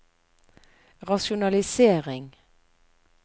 rasjonalisering